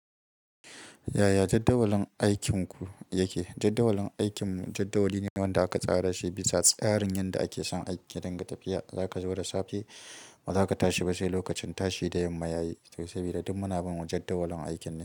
Yaya jadawalin aikinku yake? Jadawalin aikinmu jadawali ne wanda aka tsara shi bisa tsarin yanda ake son aiki, ya dinga tafiya, zaka zo da safe ba zaka tashi ba sai lokacin tashi da yamma yayi to sabida duk muna bin wajen jadawalin aikin ne.